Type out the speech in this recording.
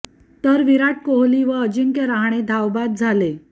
तर विराट कोहली व अजिंक्य रहाणे धावबाद झाले